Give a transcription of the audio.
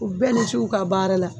U bɛɛ ni ci u ka baara la.